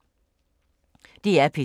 DR P2